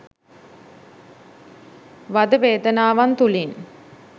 වද වේදනාවන් තුළින්